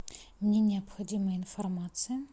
мне необходима информация